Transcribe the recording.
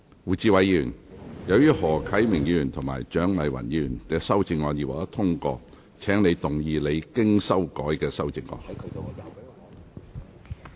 胡志偉議員，由於何啟明議員及蔣麗芸議員的修正案已獲得通過，請動議你經修改的修正案。